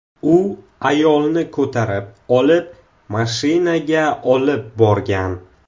U ayolni ko‘tarib olib, mashinaga olib borgan.